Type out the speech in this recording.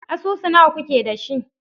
Asusu nawa kuke da shi?